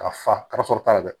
Ka fa ka sɔrɔ ta la dɛ